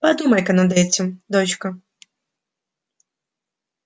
подумай-ка над этим дочка